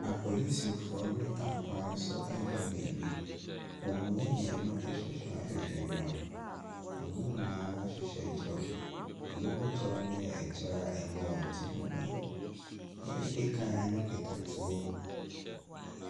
Apolisifoɔ nam kwan so rekɔ baabi. Wɔn mu mmienu hyehyɛ ahwehwɛniwa. Wɔn nyinaa hyehyɛ kyɛw. Binom kyɛw no yɛ kyɛw a ɛbɔ wɔn ti ho ban. Deɛ odi kan no kita tuo.